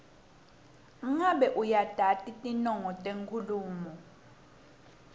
ngabe uyatati tinongo tenkhulumo